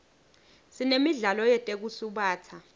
sinemidlalo yetekusubatsa